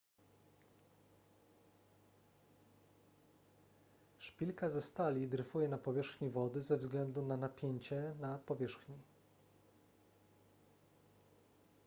szpilka ze stali dryfuje na powierzchni wody ze względu na napięcie na powierzchni